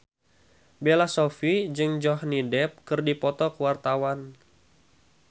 Bella Shofie jeung Johnny Depp keur dipoto ku wartawan